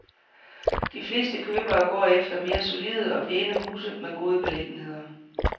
De fleste købere går efter mere solide og pæne huse med gode beliggenheder.